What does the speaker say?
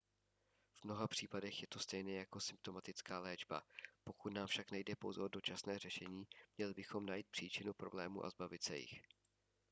v mnoha případech je to stejné jako symptomatická léčba pokud nám však nejde pouze o dočasné řešení měli bychom najít příčinu problémů a zbavit se jich